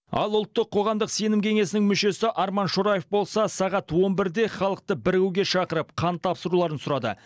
ал ұлттық сенім кеңесінің мүшесі арман шораев болса сағат он бірде халықты бірігуге шақырып қан тапсыруларын сұрады